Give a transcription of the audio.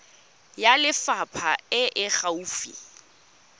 ya lefapha e e gaufi